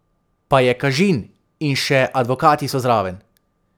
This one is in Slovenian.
Pa je kažin in še advokati so zraven.